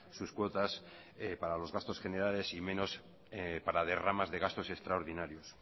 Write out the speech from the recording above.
sus cuotas para los gastos generales y menos para derramas de gastos extraordinarios